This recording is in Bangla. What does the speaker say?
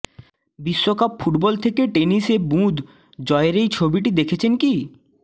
বিশ্বকাপ ফুটবল থেকে টেনিসে বুঁদ জয়ের এই ছবিটি দেখেছেন কি